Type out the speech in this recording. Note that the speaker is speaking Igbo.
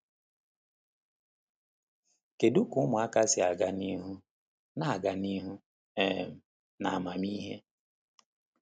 Kedu ka ụmụaka si aga n’ihu “na-aga n’ihu um n’amamihe”?